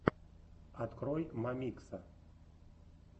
открой мамикса